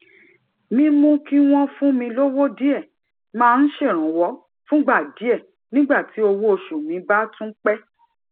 mímú kí wón fún mi lówó díè máa ń ṣèrànwó fúngbà díè nígbà tí owó oṣù mi bá tún pé